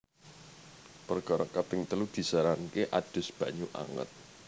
Perkara kaping telu disaranake adus banyu anget